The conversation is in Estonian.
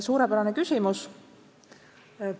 Suurepärane küsimus!